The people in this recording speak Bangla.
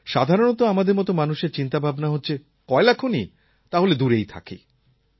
সাধারণত আমাদের মত মানুষের ভাবনাচিন্তা হচ্ছে কয়লাখনি তাহলে দূরেই থাকি